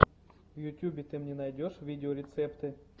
в ютубе ты мне найдешь видеорецепты